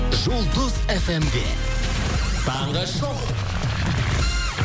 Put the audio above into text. жұлдыз эф эм де таңғы шоу